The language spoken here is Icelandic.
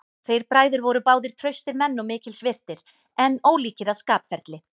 Þeir bræður voru báðir traustir menn og mikils virtir, en ólíkir að skapferli.